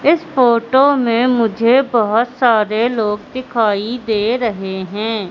इस फोटो में मुझे बहुत सारे लोग दिखाई दे रहे हैं।